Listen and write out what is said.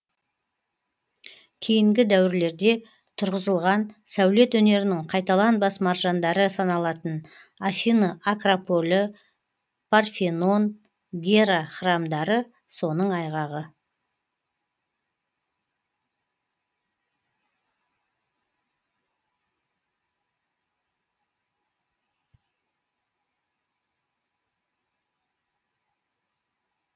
кейінгі дәуірлерде тұрғызылған сәулет өнерінің қайталанбас маржандары саналатын афины акрополі парфенон гера храмдары соның айғағы